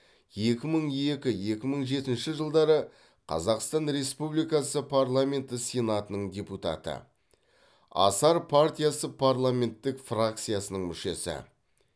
екі мың екі екі мың жетінші жылдары қазақстан республикасы парламенті сенатының депутаты асар партиясы парламенттік фракциясының мүшесі